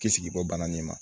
Kisi bɔ bana nin ma